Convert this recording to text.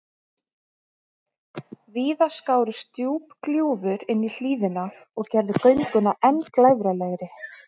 Víða skárust djúp gljúfur inní hlíðina og gerðu gönguna enn glæfralegri.